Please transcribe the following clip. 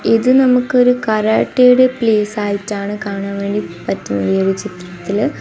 ഇത് നമുക്കൊരു കരാട്ടെയുടെ പ്ലേസ് ആയിട്ടാണ് കാണാൻ വേണ്ടി പറ്റുന്നത് ഈ ഒരു ചിത്രത്തില്.